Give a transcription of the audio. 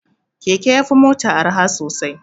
Keke ya fi mota arha sosai.